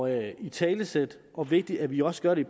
at italesætte det og vigtigt at vi også gør det